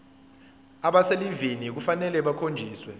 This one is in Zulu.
abaselivini kufanele bakhonjiswe